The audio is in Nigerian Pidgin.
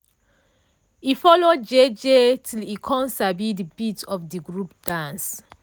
e follow jeje till e com sabi d beat of de group dance.